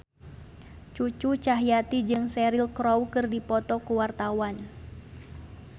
Cucu Cahyati jeung Cheryl Crow keur dipoto ku wartawan